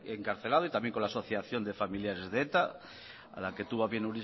encarcelado y también con la asociación de familiares de eta a la que tuvo a bien